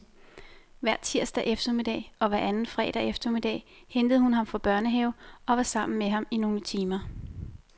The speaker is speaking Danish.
Hver tirsdag eftermiddag og hver anden fredag eftermiddag hentede hun ham fra børnehave og var sammen med ham i nogle timer.